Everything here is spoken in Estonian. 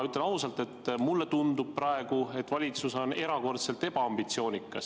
Ütlen ausalt, et mulle tundub praegu, et valitsus on erakordselt ebaambitsioonikas.